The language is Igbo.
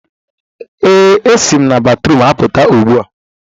ee, m esi na batrum apụta ugbu a